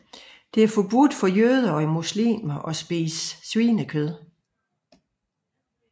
Det er forbudt jøder og muslimer at spise svinekød